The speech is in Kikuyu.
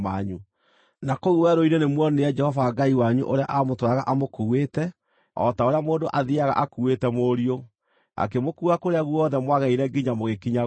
na kũu werũ-inĩ kũu nĩmuonire Jehova Ngai wanyu ũrĩa aamũtwaraga amũkuuĩte, o ta ũrĩa mũndũ athiiaga akuuĩte mũriũ, akĩmũkuua kũrĩa guothe mwagereire nginya mũgĩkinya gũkũ.”